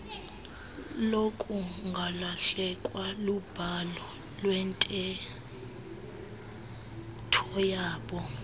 lokungalahlekwa lubhalo iwenteethoyabo